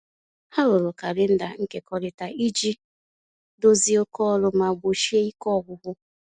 Ha rụrụ kalenda nkekọrịta iji dozie oké ọrụ ma gbochie ike ọgwụgwụ